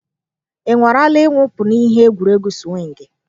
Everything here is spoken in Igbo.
Ị nwarala ịwụpụ n'ihe egwuregwu sụwịngii?